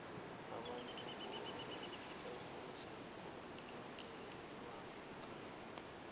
abantu ekuzakulingelelwa ngabo